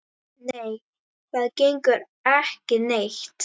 Nei, það gengur ekki neitt.